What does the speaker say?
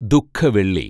ദു:ഖ വെള്ളി